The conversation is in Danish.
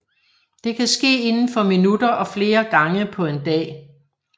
Det kan ske inden for minutter og flere gange på en dag